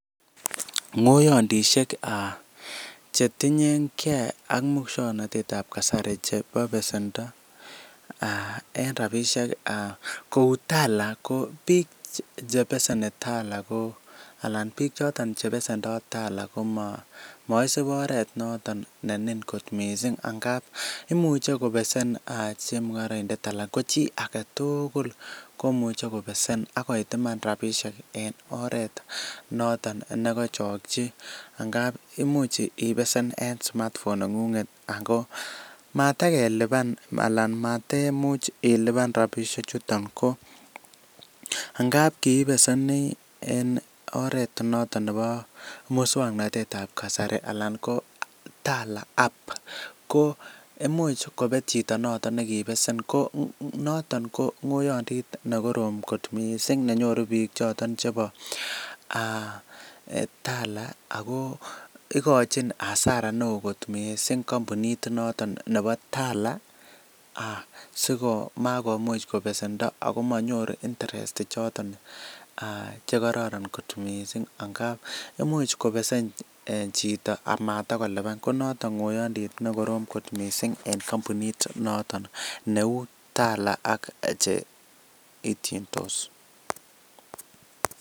Ng'oyantisiek cheting'enge ak musuaknotetab kasari ak besendo. En rabisiek, kouu Tala ko bik chebeseni Tala ko , anan bik chaton komaisub oret ne nin missing angap imuche kobesen chemung'araindet anan ko chi agetugul komuche kobesen akoit iman rabinik en oret noton kachakchi angap imuch ibessen en smart phone neng'unget ago matageliban anan matemuch iliban rabisiek chutet ko angap kobesen en oret ne noton nebo musuaknotetab kasari anan ko Tala imuch kobet chito noton kobesen ko , noton ko ng'oyandit nekorom kot missing nenyoru bik choton chebo Tala ago ikochin hasara neoo kot missing kampunit noton nebo Tala sikomakomuch kobesendo Ako manyunyum manyor interest chekoraran kot missing angap imuche kobesen chito matoko liban konaton ng'oyandit nekorom kot missing en kampunit noto neuu Tala ak cheitiendos